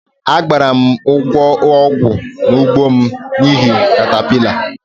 Agbara' m ugbo ọgwụ n' ugbo m n'ihi catapillar